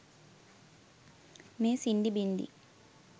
මේ සින්ඩි බින්ඩි?